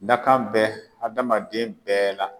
Dakan bɛ adamaden bɛɛ la